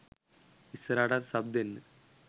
ඉස්සරහටත් sub දෙන්න